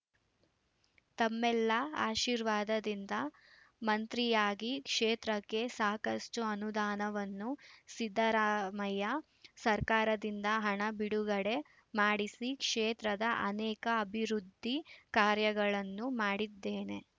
ತಮ್ಮೆಲ್ಲ ಆಶೀರ್ವಾದದಿಂದ ಮಂತ್ರಿಯಾಗಿ ಕ್ಷೇತ್ರಕ್ಕೆ ಸಾಕಷ್ಟುಅನುದಾನವನ್ನು ಸಿದ್ದರಾಮಯ್ಯ ಸರ್ಕಾರದಿಂದ ಹಣ ಬಿಡುಗಡೆ ಮಾಡಿಸಿ ಕ್ಷೇತ್ರದ ಅನೇಕ ಅಭಿವೃದ್ಧಿ ಕಾರ್ಯಗಳನ್ನು ಮಾಡಿದ್ದೇನೆ